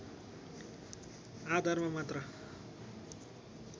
आधारमा मात्र